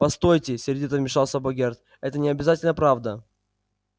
постойте сердито вмешался богерт это не обязательно правда